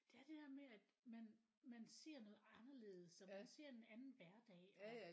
Det er det der med at man man ser noget anderledes og man ser en anden hverdag og